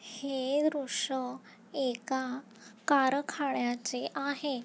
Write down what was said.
हे दृश्य एका कारखान्याचे आहे.